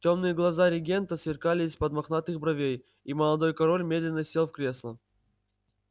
тёмные глаза регента сверкали из-под мохнатых бровей и молодой король медленно сел в кресло